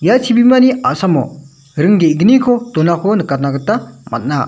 ia chibimani a·samo ring ge·gniko donako nikatna gita man·a.